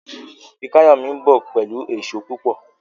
Fikayomi nbọ pẹlú Èṣó púpọ